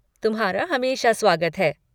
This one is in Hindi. तुम्हारा हमेशा स्वागत है।